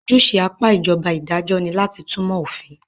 Ojúṣe apá ìjọba idajọ́ ní láti túnmọ̀ òfin.